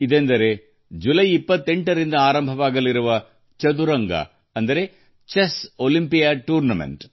ಇದುವೇ ಜುಲೈ 28 ರಿಂದ ಪ್ರಾರಂಭವಾಗುವ ಚೆಸ್ ಒಲಿಂಪಿಯಾಡ್ ಕ್ರೀಡಾಕೂಟ